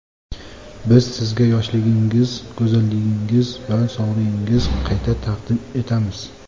Biz sizga yoshligingiz, go‘zalligingiz va sog‘lig‘ingiz qayta taqdim etamiz.